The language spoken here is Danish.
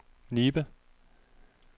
Nibe